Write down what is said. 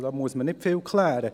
Da muss man nicht viel klären.